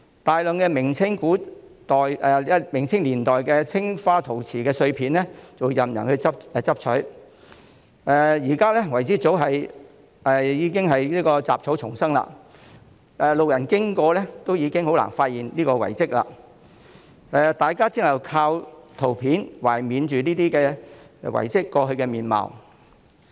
大量明、清年代青花陶瓷碎片任人拾取，遺址現在早已是雜草叢生，路人經過亦很難發現這個遺蹟，大家只能靠圖片懷緬遺蹟過去的面貌。